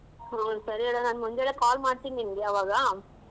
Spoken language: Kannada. ಹು ಸರಿ ಹೇಳ್ ನಾನು ಮುಂಚೆನೇ call ಮಾಡ್ತೀನಿ ನಿಂಗೆ ಆವಾಗ.